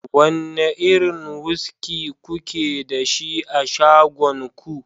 wane irin wuski kuke da shi a shagon ku